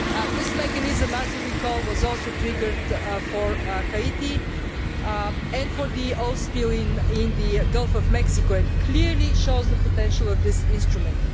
This mechanism, as you recall, was also triggered for Haiti and for the oil spill in the Gulf of Mexico, and clearly shows the potential of this instrument.